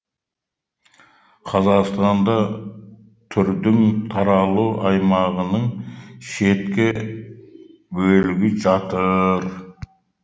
қазақстанда түрдің таралу аймағының шеткі бөлігі жатыр